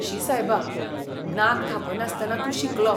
शी सायबा, नाक धांपनासतना तूं शिंकलो.